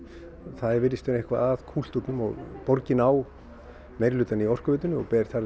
það virðist eitthvað vera að kúltúrnum og borgin á meirihlutann í Orkuveitunni og ber þar